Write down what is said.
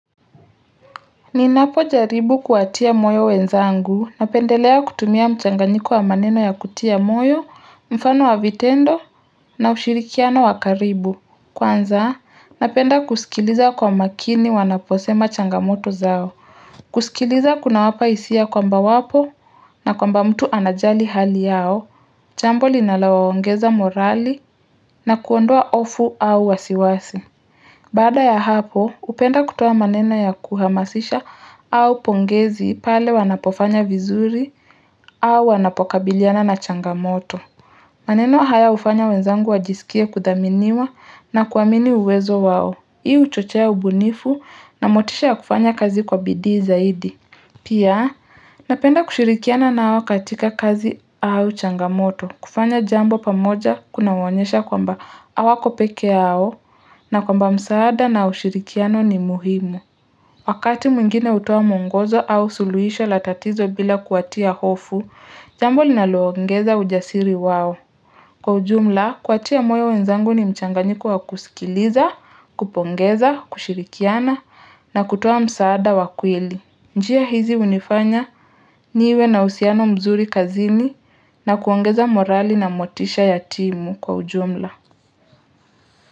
Ninapojaribu kuwatia moyo wenzangu napendelea kutumia mchanganyiko wa maneno ya kutia moyo mfano wa vitendo na ushirikiano wa karibu kwanza napenda kusikiliza kwa makini wanaposema changamoto zao kusikiliza kunawapa hisia kwamba wapo na kwamba mtu anajali hali yao chambo linalowaongeza morali na kuondoa ofu au wasiwasi Baada ya hapo hpenda kutoa maneno ya kuhamasisha au pongezi pale wanapofanya vizuri au wanapokabiliana na changamoto maneno haya hufanya wenzangu wajisikie kudhaminiwa na kuamini uwezo wao hii huchochea ubunifu na motisha ya kufanya kazi kwa bidii zaidi Pia, napenda kushirikiana nao katika kazi au changamoto, kufanya jambo pamoja kunauonyesha kwamba awako pekee yao na kwamba msaada na ushirikiano ni muhimu. Wakati mwingine hutoa mwongozo au suluhisho la tatizo bila kuwatia hofu, jambo linaloongeza ujasiri wao. Kwa ujumla, kuwatia moyo wenzangu ni mchanganyiko wa kusikiliza, kupongeza, kushirikiana na kutoa msaada wa kweli. Njia hizi hunifanya niwe na usiano mzuri kazini na kuongeza morali na motisha ya timu kwa ujumla.